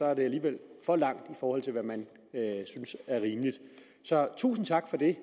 er det alligevel for langt i forhold til hvad man synes er rimeligt så tusind tak for det